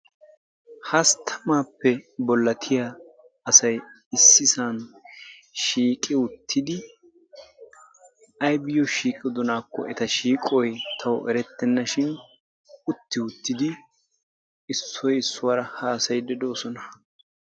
Hastamaappe bolattiya asay issisan shiiqi uttidi aybiyoo shiiqidonaakko eta shiiqoy tawu erettenna shin utti uttidi issoy issuwaara hasayiid doosona.